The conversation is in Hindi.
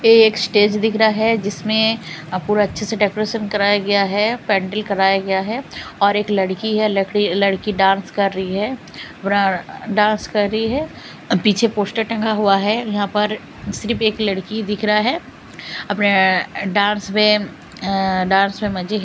ये एक स्टेज दिख रहा है जिसमें पूरा अच्छे से डेकोरेशन कराया गया है पेंडल कराया गया है और एक लड़की है लकड़ी लड़की डांस कर रही है पूरा डांस कर रही है पीछे पोस्टर टंगा हुआ है यहाँ पर सिर्फ एक लड़की दिख रहा है अपने डांस में अ डांस में मजे --